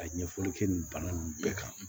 Ka ɲɛfɔli kɛ nin bana nunnu bɛɛ kan